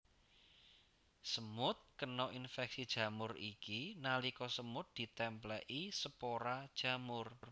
Semut kena infeksi jamur iki nalika semut ditèmplèki spora jamur